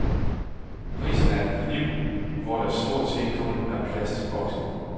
Prisen er et liv, hvor der stort set kun er plads til boksning.